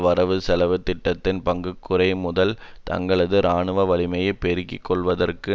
வரவுசெலவு திட்டத்தின் பற்றாக்குறை மூலம் தங்களது இராணுவ வலிமையை பெருக்கிக்கொள்வதற்கு